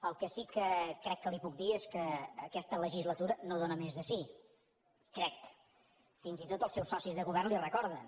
el que sí que crec que li puc dir és que aquesta legislatura no dóna més de si crec fins i tot els seus socis de govern li ho recorden